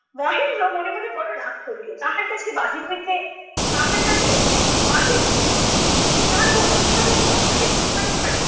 মহেন্দ্র মনে মনে বড় রাগ করিল। তাহার কাছে বাহির হইতে তাহার কাছে বাহির হইতে আপত্তি! তাহাকে অন্য সাধারণ পুরুষের মতো জ্ঞান করা!